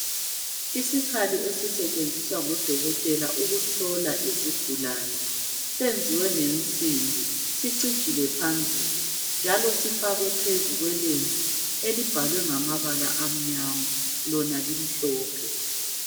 Isikhali esisetshinziswa ngobodokotela ukuhlola izigulane senziwe ngensimbi sicijile phambili njalo sifakwe phezu kwelembu elibhalwe ngamabalaa amnyama lona limhlophe.